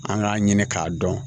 An k'a ɲini k'a dɔn